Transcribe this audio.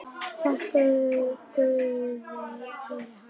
Þakkar guði fyrir hana.